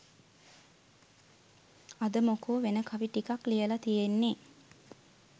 අද මොකෝ වෙන කවි ටිකක් ලියලා තියෙන්නේ